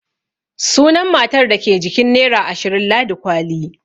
Sunan matar da ke jikin nera ashirin Ladi kwali.